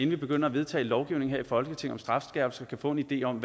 vi begynder at vedtage lovgivning her i folketinget om strafskærpelse kan få en idé om